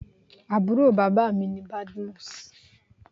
Àbúrò bàbá mi ni Badmus.